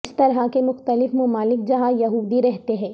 اس طرح کے مختلف ممالک جہاں یہودی رہتے ہیں